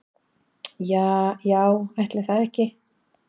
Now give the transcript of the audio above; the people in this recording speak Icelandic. Ja já ætli það ekki.